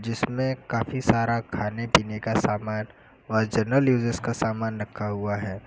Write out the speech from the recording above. इसमें काफी सारा खाने पीने का सामान और जनरल यूजेस का सामान रखा हुआ है।